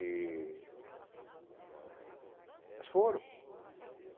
E... Foram.